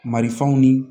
Marifaw ni